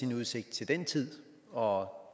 udsigt til den tid og